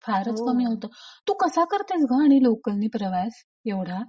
फारच कमी होत. हो तू कसा करतेस ग आणि लोकलनी प्रवास एवढा?